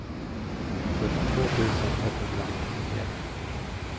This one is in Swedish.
fyrtiotvå tusen etthundranittionio